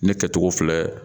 Ne kɛcogo filɛ